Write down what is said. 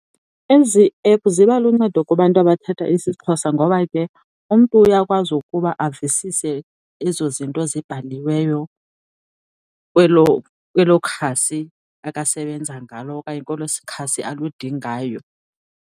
Ezi ephu ziba luncedo kubantu abathetha isiXhosa ngoba ke umntu uyakwazi ukuba avisise ezo zinto zibhaliweyo kwelo khasi akasebenza ngalo okanye kwelo khasi aludingayo.